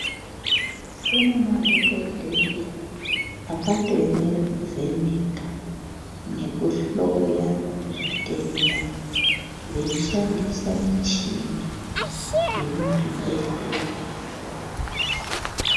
Kune madhokodheya akatoemere kuvheneka nekuhloya zvitenda veishandisa michini iri muzvibhedhlera.